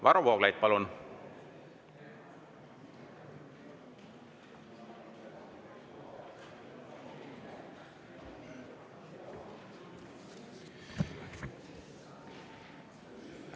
Varro Vooglaid, palun!